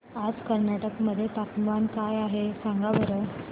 आज कर्नाटक मध्ये तापमान काय आहे सांगा बरं